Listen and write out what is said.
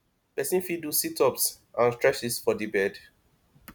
person fit do sit ups and streches for di bed